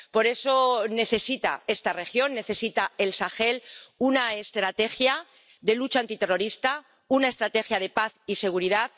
Por eso necesita esta región, necesita el Sahel, una estrategia de lucha antiterrorista, una estrategia de paz y seguridad